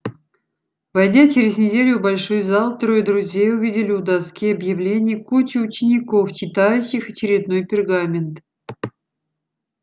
войдя через неделю в большой зал трое друзей увидели у доски объявлений кучку учеников читающих очередной пергамент